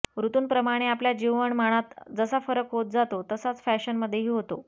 ऋतूंप्रमाणे आपल्या जीवनमानात जसा फरक होत जातो तसाच फॅशनमध्येही होतो